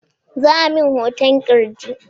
Za'a min hoton ƙirji